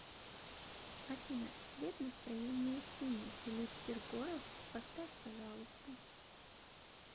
афина цвет настроения синий филипп киркоров поставь пожалуйста